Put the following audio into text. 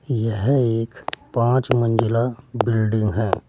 यह एक पांच मंजिला बिल्डिंग है।